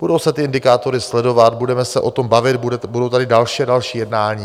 Budou se ty indikátory sledovat, budeme se o tom bavit, budou tady další a další jednání.